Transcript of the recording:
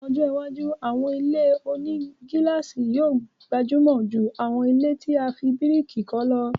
Ni ọjọ́ iwájú, àwọn ilé-onígílàsì yóò gbajúmọ̀ jù àwọn ilẹ́ tí a fi bíríkì kọ́ lọ